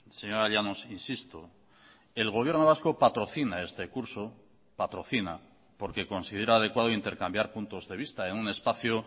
señora llanos insisto el gobierno vasco patrocina este curso patrocina porque considera adecuado intercambiar puntos de vista en un espacio